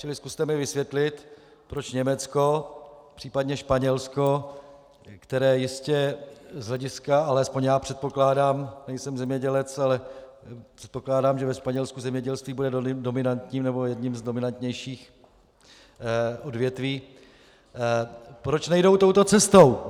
Čili zkuste mi vysvětlit, proč Německo, případně Španělsko, které jistě z hlediska - alespoň já předpokládám, nejsem zemědělec, ale předpokládám, že ve Španělsku zemědělství bude dominantním nebo jedním z dominantnějších odvětví - proč nejdou touto cestou?